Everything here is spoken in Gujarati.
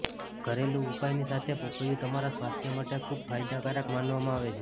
ઘરેલું ઉપાયની સાથે પપૈયું તમારા સ્વાસ્થ્ય માટે ખૂબ ફાયદાકારક માનવામાં આવે છે